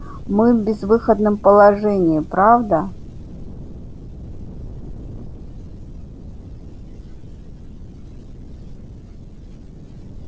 мы в безвыходном положении правда